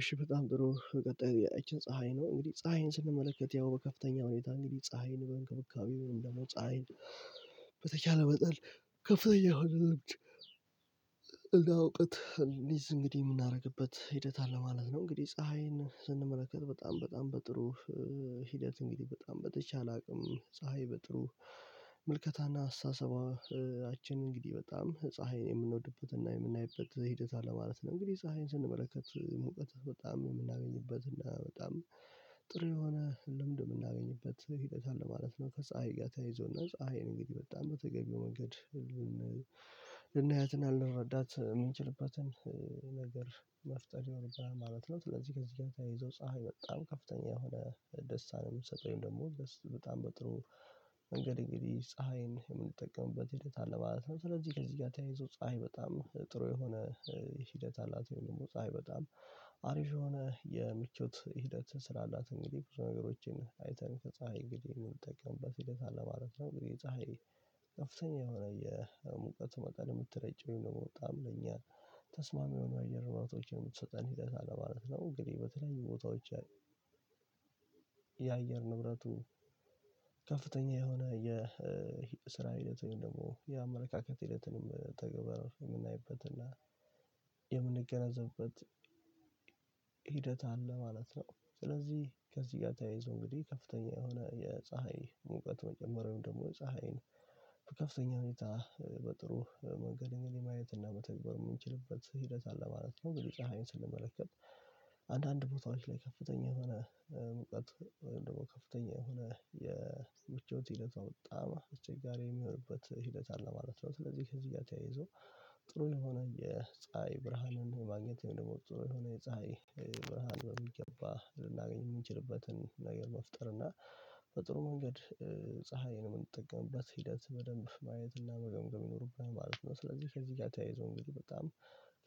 እሺ በጣም ጥሩ ቀጣዩ ጥያቄያችን ፀሀይ ነው እንግዲህ ፀሀይን ስንመለከት ያው በከፍተኛ ሁኔታ እንግዲህ ፀሀይን በእንክብካቤው ወይም ደግሞ ፀሀይን በተቻለ መጠን ከፍተኛ የሆነ ልምድ እና አውቀት እንይዝ እንግዲህ የምናደርግበት ሂደት አለ ማለት ነው። እንግዲህ ፀሀይን ስንመለከት በጣም በጣም በጥሩ ሂደት እንግዲህ በጣም በተቻለ አቅም ፀሀይ በጥሩ ምልከታና አስተሳሰባችን እንግዲህ በጣም ፀሀይን የምንወድበትና የምናይበት ሂደት አለ ማለት ነው። እንግዲህ ፀሀይን ስንመለከት ሙቀት በጣም የምናገኝበት እና በጣም ጥሩ የሆነ ልምድ የምናገኝበት ሂደት አለ ማለት ነው ከፀሀይ ጋር ተያይዞና ፀሀይን እንግዲህ በጣም በተገቢው መንገድ ልናየትና ልንረዳት ነገር መፍጠር ይኖርብናል ማለት ነው። ስለዚህ ከዚህ ጋር ተያይዞ ፀሀይ በጣም ከፍተኛ የሆነ ደስታ ነው የምትሰጠው ወይም ደግሞ ደስ በጣም በጥሩ መንገድ እንግዲህ ፀሀይን የምንጠቀምበት ሂደት አለ ማለት ነው። ስለዚህ ከዚህ ጋር ተያይዞ ፀሀይ በጣም ጥሩ የሆነ ሂደት አላት ወይም ደግሞ ፀሀይ በጣም አሪፍ የሆነ የምቾት ሂደት ስላላት እንግዲህ ብዙ ነገሮችን አይተን ከፀሀይ እንግዲህ የምንጠቀምበት ሂደት አለ ማለት ነው። እንግዲህ ፀሀይ ከፍተኛ የሆነ የሙቀቱ መጠን የምትረጭ ወይም ደግሞ በጣም ለኛ ተስማሚ የሆኑ አየር ንብረቶችን የምትሰጠን ሂደት አለ ማለት ነው እንግዲህ በተለያዩ ቦታዎች የአየር ንብረቱ ከፍተኛ የሆነ የስራ ሂደት ወይም ደግሞ የአመለካከት ሂደትንም ተገበረ የምናይበትና የምንገነዘብበት አለ ማለት ነው። ስለዚህ ከዚህ ጋር ተያይዞ እንግዲህ ከፍተኛ የሆነ የፀሀይ ሙቀት መጨመር ወይም ደግሞ ፀሀይን ከፍተኛ ሁኔታ በጥሩ መንገድ ማየት እና መተግበር የምንችልበት ሂደት አለ ማለት ነው። ፀሀይን ስንመለከት አንዳንድ ቦታዎች ላይ ከፍተኛ የሆነ ሙቀት ወይም ደግሞ ከፍተኛ የሆነ የምቾት ሂደቷ በጣም አስቸጋሪ የሚሆንበት ሂደት አለ ማለት ነው። ስለዚህ ከዚህ ጋር ተያይዞ ጥሩ የሆነ የፀሀይ ብርሃንን ማግኘት ወይም ደግሞ ጥሩ የሆነ የፀሀይ ብርሃን በሚገባ ልናገኝ የምንችልበትን ነገር መፍጠር እና በጥሩ መንገድ ፀሀይን የምንጠቀምበት ሂደት በደንብ ማየት እና መገምገም ይኖርብናል ማለት ነው። ስለዚህ ከዚህ ጋር ተያይዞ እንግዲህ በጣም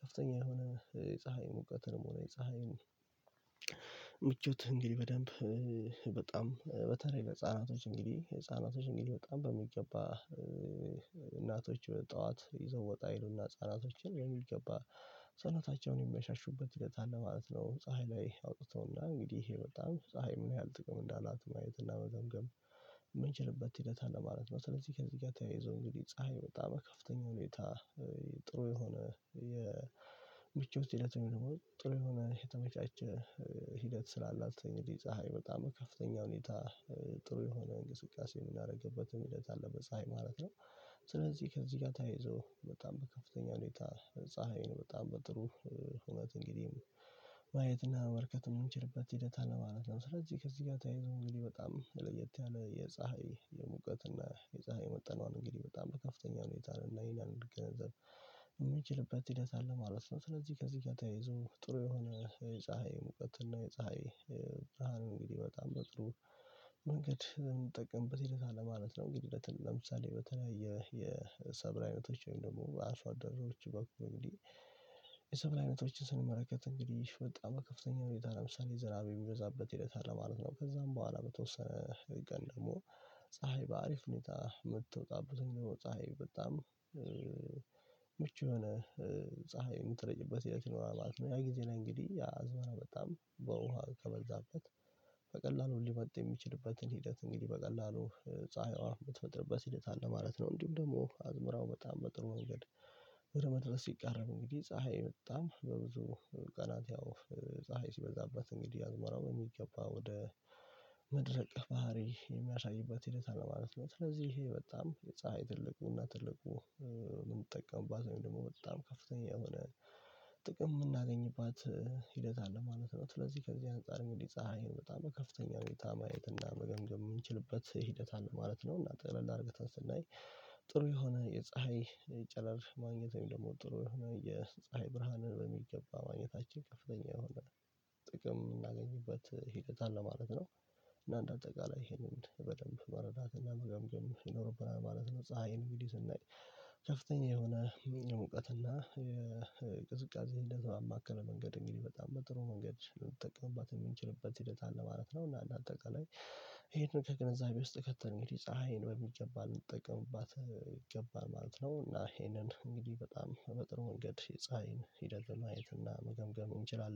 ከፍተኛ የሆነ የፀሀይ ሙቀትንም ሆነ የፀሀይን ምቾት እንግዲህ በደንብ በጣም በተለይ ለህፃናቶች እንግዲህ ህፃናቶች እንግዲህ በጣም በሚገባ እናቶች ጠዋት ይዘው ወጣ ይሉና ህፃናቶችን በሚገባ ሰዉነታቸውን የሚያሻሹበት ሂደት አለ ማለት ነው። ፀሀይ ላይ አውጥተውና እንግዲህ ይሄ በጣም ፀሀይ ምን ያህል ጥቅም እንዳላት ማየት እና መገምገም የምንችልበት ሂደት አለ ማለት ነው። ስለዚህ ከዚህ ጋር ተያይዞ እንግዲህ ፀሀይ በጣም ከፍተኛ ሁኔታ ጥሩ የሆነ ሂደት ወይም ደግሞ ጥሩ የሆነ የተመቻቸ ሂደት ስላላት እንግዲህ ፀሀይ በጣም ከፍተኛ ሁኔታ ጥሩ የሆነ እንቅስቃሴ የምናደርግበትም ሂደት አለ በፀሀይ ማለት ነው። ስለዚህ ከዚህ ጋ ተያይዞ በጣም በከፍተኛ ሁኔታ ፀሀይ ነው በጣም በጥሩ ሁነት እንግዲህ ማየትና መመልከት የምንችልበት ሂደት አለ ማለት ነው። ስለዚህ ከዚህ ጋር ተያይዞ እንግዲህ በጣም ለየት ያለ የፀሀይ የሙቀት እና የፀሀይ መጠኗን እንግዲህ በጣም በከፍተኛ ሁኔታ ልናይና ልንገነዘብ የምችልበት ሂደት አለ ማለት ነው። ስለዚህ ከዚህ ጋር ተይዞ ጥሩ የሆነ የፀሀይ ሙቀት እና የፀሀይ ብርሃን እንግዲህ በጣም በጥሩ መንገድ የምንጠቀምበት ሂደት አለ ማለት ነው። እንግዲህ ለምሳሌ በተለያየ የሰብል አይነቶች ወይም ደግሞ አርሶ አደሮዎች በኩል እንግዲህ የሰብል አይነቶችን ስንመለከት እንግዲህ በጣም በከፍተኛ ሁኔታ ለምሳሌ ዝናብ የሚበዛበት ሂደት አለ ማለት ነው። ከዛም በኋላ በተወሰነ ቀን ደግሞ ፀሀይ በአሪፍ ሁኔታ ምትወጣበት ፀሀይ በጣም ምቹ የሆነ ፀሀይ የምትረጭበት ሂደት ይኖራል ማለት ነው። ያ ጊዜ ነው እንግዲህ አዝማራ በጣም በውሃ ከበዛበት በቀላሉ ሊመጥ የሚችልበትን ሂደት እንግዲህ በቀላሉ ፀሀዩዋ የምትፈጥርበት ሂደት አለ ማለት ነው። እንዲሁም ደግሞ አዝመራው በጣም በጥሩ ወንገድ ወደ መድረስ ሲቃረብ እንግዲህ ፀሀይ በጣም በብዙ ቀናት ያው ፀሀይ ሲበዛበት እንግዲህ ያዝመራው የሚገባ ወደ መድረቅ ባህሪ የሚያሳይበት ሂደት አለ ማለት ነው። ስለዚህ ይሄ በጣም የፀሀይ ትልቁና ትልቁ የምንጠቀምባት ወይም ደግሞ በጣም ከፍተኛ የሆነ ጥቅም የምናገኝባት ሂደት አለ ማለት ነው። ስለዚህ ከዚህ አንፃር እንግዲህ ፀሀይን በጣም በከፍተኛ ሁኔታ ማየትና እና መገምገም የምንችልበት ሂደት አለ ማለት ነው። እና ጠቅለል አርግተን ስናይ ጥሩ የሆነ የፀሀይ ጨረር ማግኘት ወይም ደግሞ ጥሩ የሆነ የፀሀይ ብርሃንን በሚገባ ማግኘታችን ከፍተኛ የሆነ ጥቅም የምናገኝበት ሂደት አለ ማለት ነው። እና እንደ አጠቃላይ ይሄንን በደንብ መረዳት እና መገምገም ይኖርብናል ማለት ነው። ፀሀይን አንግዲህ ስናይ ከፍተኛ የሆነ የሙቀትና ቅዝቃዜ እንደዛ ባማከለ መንገድ እንግዲህ በጣም በጥሩ መንገድ ልንጠቀምባት የምንችልበት ሂደት አለ ማለት ነው። እና እንደ አጠቃላይ ይሄንን ከገንዛቤ ውስጥ ከተን እንግዲ ፀሀይን በሚገባ ልንጠቀምባት ይገባል ማለት ነው። እና ይሄንን እንግዲህ በጣም በጥሩ ወንገድ የፀሀይን ሂደት ማየት እና መገምገም እንችላለን